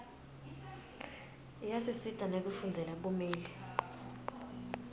iyasisita nekufundzela bumeli